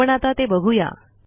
आपण आता ते बघू या